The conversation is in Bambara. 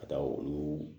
Ka taa olu